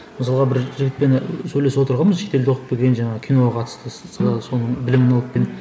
мысалға бір жігітпен і сөйлесіп отырғанбыз шетелде оқып келген жаңағы киноға қатысты